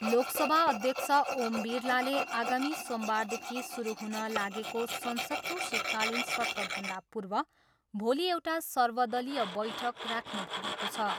लोकसभा अध्यक्ष ओम बिरलाले आगामी सोमबारदेखि सुरु हुन लागेको संसदको शीतकालिन सत्रभन्दा पूर्व भोलि एउटा सर्वदलीय बैठक राख्नुभएको छ।